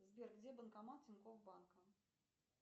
сбер где банкомат тинькофф банка